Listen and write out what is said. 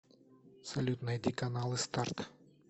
салют найди каналы старт